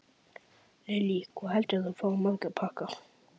Lillý: Hvað heldurðu að þú fáir marga pakka?